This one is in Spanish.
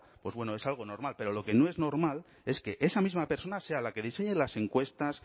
bueno es algo normal pero lo que no es normal es que esa misma persona sea la que diseñe las encuestas